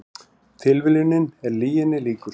Tilviljunin er lyginni líkust